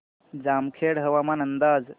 जामखेड हवामान अंदाज